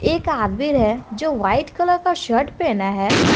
एक आदबीर है जो वाइट कलर का शर्ट पहना है।